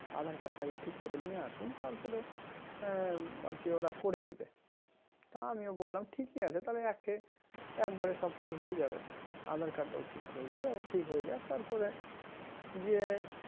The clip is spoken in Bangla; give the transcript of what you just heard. adhar card টা আগে ঠিক করে নিয়ে আসুন তারপরে হম আরকি ওরা করে দিবে তা আমিও বললাম ঠিকই আছে একে~ একবারে সবকিছু হয়ে যাবে aadhaar card টাও ঠিক হয়ে যাবে ঠিক হয়ে যাক তারপরে গিয়ে